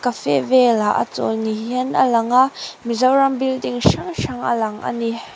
cafe velah a chawl ni hian a langa mizoram building hrang hrang a lang a ni.